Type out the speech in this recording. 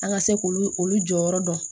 An ka se k'olu olu jɔyɔrɔ dɔn